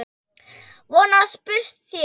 Von að spurt sé.